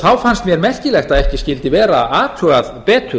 þá fannst mér merkilegt að ekki skyldi vera athugað betur